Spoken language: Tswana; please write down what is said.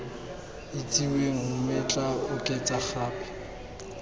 itsiweng mme tla oketsa gape